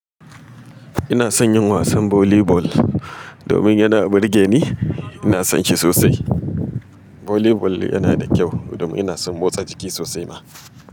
Ina son yin wasan volley ball, domin yana burge ni, ina son shi sosai. Volley ball yana da kyau domin ina son motsa jiki sosai ma.